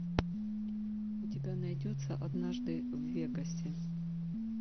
у тебя найдется однажды в вегасе